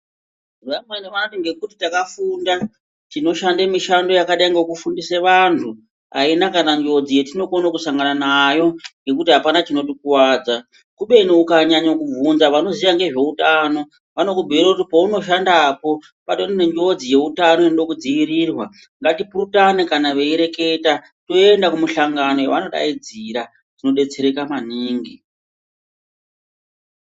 Vamweni vanoti ngekuti takafunda tinoshande mishando yakadai ngekuti tinofundise vantu ayina kana njodzi yetinokone kusangana nayo ngekuti apana chinotikuwadza kubeni ukanyanye kubvunza vanoziya ngezveutano vanokubhuire kuti peunoshandapo patori nenjodzi yeutano inode kudziirirwa. Ngatipurutane kana veyireketa toyenda kumihlangano yevanodaidzira tinodetsereka manini.